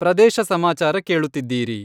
ಪ್ರದೇಶ ಸಮಾಚಾರ ಕೇಳುತ್ತಿದ್ದೀರಿ.......